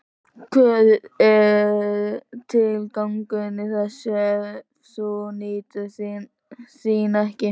Hver er tilgangurinn í þessu ef þú nýtur þín ekki?